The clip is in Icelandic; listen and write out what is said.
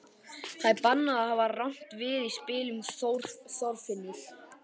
Það er bannað að hafa rangt við í spilum, Þorfinnur.